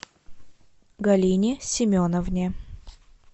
галине семеновне